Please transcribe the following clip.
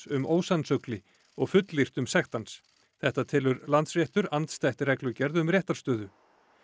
um ósannsögli og fullyrt um sekt hans þetta telur Landsréttur andstætt reglugerð um réttarstöðu